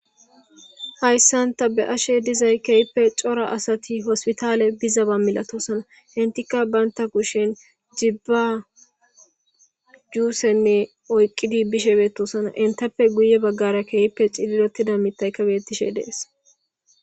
Haysan ta be'ashe de'aysi kehipe cora asati woyko hospital biza milatosona entikka banta kushen gibba jussenne oykidi bishe betosona entappe guye bagara kehipe cilili utida mithaykka betishe de'ese